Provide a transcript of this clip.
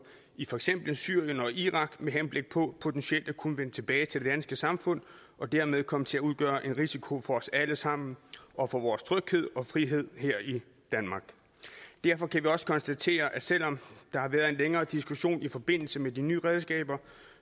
i for eksempel syrien og irak med henblik på potentielt at kunne vende tilbage til det danske samfund og dermed komme til at udgøre en risiko for os alle sammen og for vores tryghed og frihed her i danmark derfor kan vi også konstatere at selv om der har været en længere diskussion i forbindelse med de nye redskaber